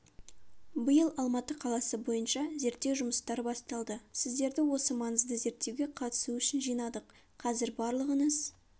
биыл алматы қаласы бойынша зерттеу жұмыстары басталды сіздерді осы маңызды зерттеуге қатысу үшін жинадық қазір барлығыңыз